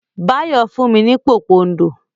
Báyọ̀ fún mi ní pòpondò.